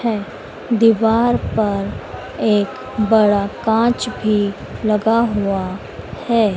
है दीवार पर एक बड़ा कांच भी लगा हुआ है।